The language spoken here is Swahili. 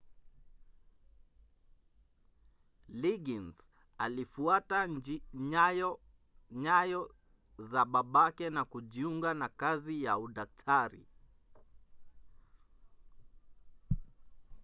liggins alifuata nyayo za babake na kujiunga na kazi ya udaktari